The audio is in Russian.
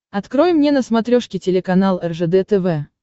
открой мне на смотрешке телеканал ржд тв